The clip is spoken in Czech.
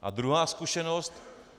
A druhá zkušenost.